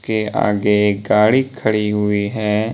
के आगे एक गाड़ी खड़ी हुई है।